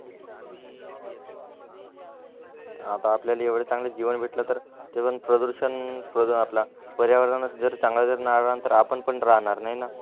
आता आपल्यला येवढ चांगल जीवन भेटल तर ते पण प्रदूषण करून आपला पर्यावरनात जर चांगला राहणार नाही तर आपण पण राहणार नाही ना